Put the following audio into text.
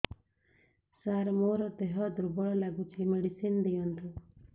ସାର ମୋର ଦେହ ଦୁର୍ବଳ ଲାଗୁଚି ମେଡିସିନ ଦିଅନ୍ତୁ